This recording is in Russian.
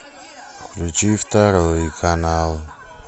включи второй канал